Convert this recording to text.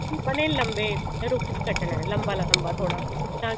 ਆਪਾਂ ਨੇ ਲੰਬੇ ਰੂਪ ਚ ਕੱਟਣਾ ਲੰਬਾ ਲੰਬਾ ਥੋੜਾ ਤਾਂ ਕਿ